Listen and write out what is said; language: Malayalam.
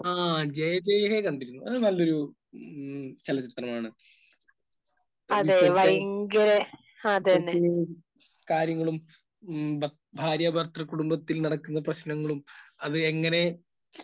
ആ ജയ ജയ ഹേ കണ്ടിരുന്നു. അത് നല്ലൊരു മ്മ് ചലച്ചിത്രമാണ്. ഇപ്പോഴത്തെ...ഇപ്പോഴത്തെ ഒരു കാര്യങ്ങളും മ്മ് ഭാര്യാഭർതൃകുടുംബത്തിൽ നടക്കുന്ന പ്രശ്നങ്ങളും അതെങ്ങനെ